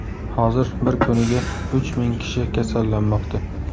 Hozir bir kuniga uch ming kishi kasallanmoqda.